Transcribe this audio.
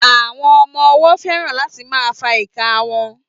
Àwọn ọmọ ọwọ́ fẹ́ràn láti máa fa ìka wọn